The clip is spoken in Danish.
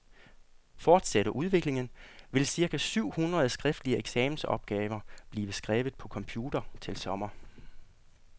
Fortsætter udviklingen, vil cirka syv hundrede skriftlige eksamensopgaver blive skrevet på computer til sommer.